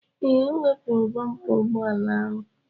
Ee, o wepụrụ bompa ụgbọala ahụ.